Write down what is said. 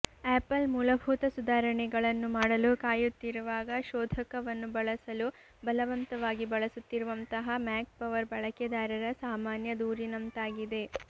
apple ಮೂಲಭೂತ ಸುಧಾರಣೆಗಳನ್ನು ಮಾಡಲು ಕಾಯುತ್ತಿರುವಾಗ ಶೋಧಕವನ್ನು ಬಳಸಲು ಬಲವಂತವಾಗಿ ಬಳಸುತ್ತಿರುವಂತಹ ಮ್ಯಾಕ್ ಪವರ್ ಬಳಕೆದಾರರ ಸಾಮಾನ್ಯ ದೂರಿನಂತಾಗಿದೆ